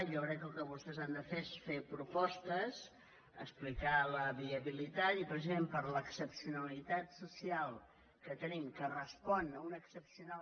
jo crec que el que vostès han de fer és fer propostes explicar ne la viabilitat i precisament per l’excepcionalitat social que tenim que respon a una excepcional